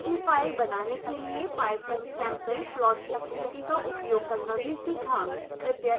png file बनाने के लिए pyfoamsampleplot utility का उपयोग करना भी सीखा